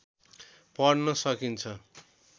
पढ्न सकिन्छ